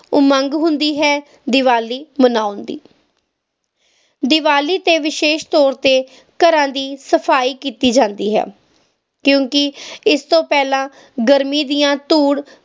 ਉਮੰਗ ਹੁੰਦੀ ਹੈ ਦੀਵਾਲੀ ਮਨਾਉਣ ਦੀ ਦੀਵਾਲੀ ਤੇ ਵਿਸ਼ੇਸ ਤੌਰ ਤੇ ਘਰਾਂ ਦੀ ਸਫਾਈ ਕੀਤੀ ਜਾਂਦੀ ਹੈ ਕਿਉਕਿ ਇਸ ਤੋਂ ਪਹਿਲਾਂ ਗਰਮੀ ਦੀਆਂ ਧੂੜ